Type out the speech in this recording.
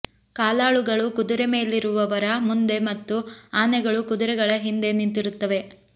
ಕಾಲಾಳುಗಳು ಕುದುರೆ ಮೇಲಿರುವವರ ಮುಂದೆ ಮತ್ತು ಆನೆಗಳು ಕುದುರೆಗಳ ಹಿಂದೆ ನಿಂತಿರುತ್ತವೆ